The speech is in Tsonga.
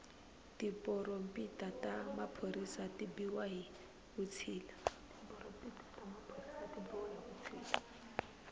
tiporompita ta maphorisa ti biwa hi vutshila